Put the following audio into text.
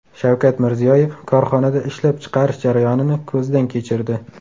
Shavkat Mirziyoyev korxonada ishlab chiqarish jarayonini ko‘zdan kechirdi.